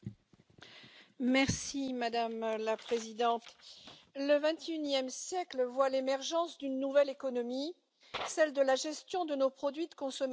Madame la Présidente, le XXIe siècle voit l'émergence d'une nouvelle économie, celle de la gestion de nos produits de consommation après usage.